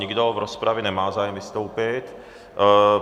Nikdo v rozpravě nemá zájem vystoupit.